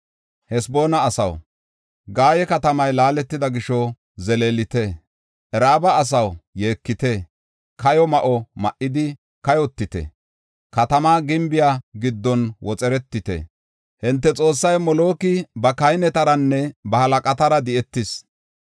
“Haseboona asaw, Gaye katamay laaletida gisho zeleelite. Raaba asaw, yeekite; kayo ma7o ma7idi kayotite; katamaa gimbiya giddon woxeretite. Hinte xoossay Moloki ba kahinetaranne ba halaqatara di7etis.